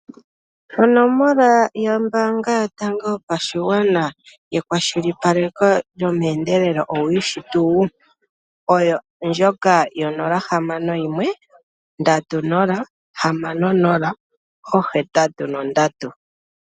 Onomola yombaanga yotango yopashigwana yekwashilipaleko lyomeendelelo owu yishi tuu? Oyo ndjoka yo061 306083.